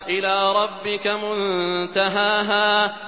إِلَىٰ رَبِّكَ مُنتَهَاهَا